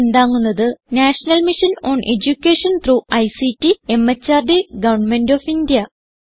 ഇതിനെ പിന്താങ്ങുന്നത് national mission on education through ICT MHRD government of India